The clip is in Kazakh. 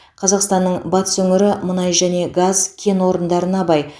қазақстанның батыс өңірі мұнай және газ кен орындарына бай